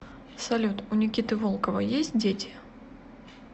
салют у никиты волкова есть дети